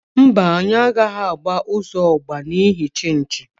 Mba, anyi agaghi agba uzo ogba n'ihi nchichi.